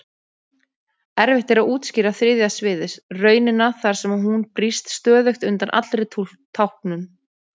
Erfitt er að útskýra þriðja sviðið, raunina þar sem hún brýst stöðugt undan allri táknun.